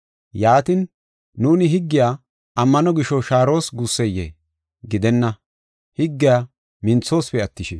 Yaatin, nuuni higgiya ammano gisho shaaros guusseyee? Gidenna! Higgiya minthosipe attishin.